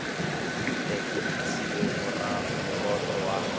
tle e ntshiwe moroto wa